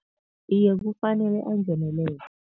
Iye, kufanele angenelele.